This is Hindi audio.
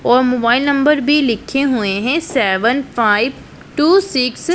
और मोबाइल नंबर भी लिखे हुए हैं सेवन फाइव टू सिक्स --